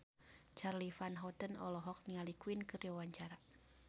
Charly Van Houten olohok ningali Queen keur diwawancara